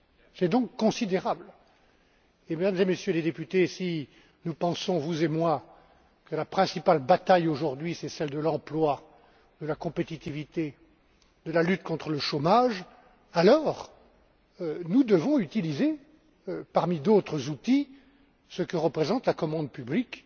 C'est donc considérable, et Mesdames et Messieurs les députés, si nous pensons vous et moi que la principale bataille aujourd'hui est celle de l'emploi, de la compétitivité, de la lutte contre le chômage, alors, nous devons utiliser, parmi d'autres outils, ce que représente la commande publique